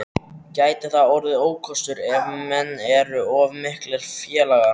Gæti það orðið ókostur ef menn eru of miklir félagar?